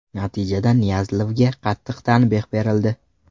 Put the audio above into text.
Natijada Niyazlevga qattiq tanbeh berildi.